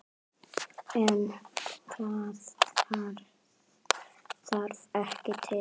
En það þarf ekki til.